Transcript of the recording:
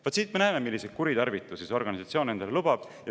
Vaat siit me näeme, milliseid kuritarvitusi see organisatsioon endale lubab.